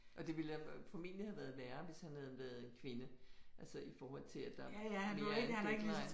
Og det ville formentlig have været værre hvis han havde været kvinde altså i forhold til at der er mere en deadline